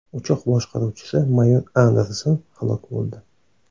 Uchoq boshqaruvchisi mayor Andersen halok bo‘ldi.